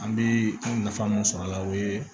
An bɛ nafa min sɔr'a la o ye